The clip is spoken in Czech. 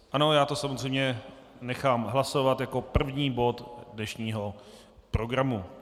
Ano, já to samozřejmě nechám hlasovat jako první bod dnešního programu.